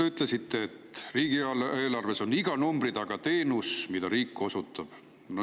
Te ütlesite, et riigieelarves on iga numbri taga teenus, mida riik osutab.